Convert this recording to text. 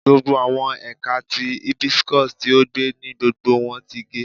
Gbogbo awọn ẹka ti hibiscus ti o gbẹ ni gbogbo wọn ti ge